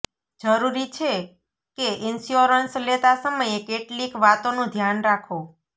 જરૂરી છે કે ઈન્સ્યોરન્સ લેતા સમયે કેટલીક વાતોનું ધ્યાન રાખો